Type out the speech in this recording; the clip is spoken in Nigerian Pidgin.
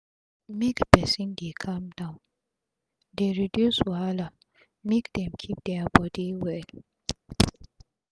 make persin dey calm down dey reduce wahala make dem keep dia bodi well